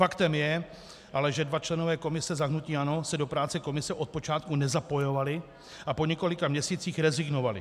Faktem je, že ale dva členové komise za hnutí ANO se do práce komise od počátku nezapojovali a po několika měsících rezignovali.